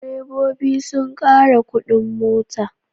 Direbobi sun ƙara kuɗin mota.